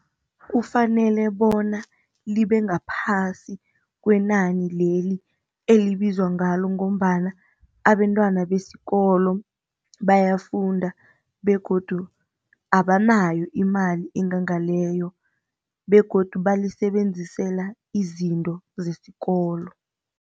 Kufanele bona libe ngaphasi kwenani leli elibizwa ngalo ngombana abentwana besikolo bayafunda begodu abanayo imali engangani leyo begodu balisebenzisela izinto zesikolo.